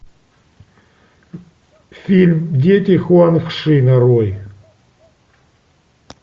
фильм дети хуанг ши нарой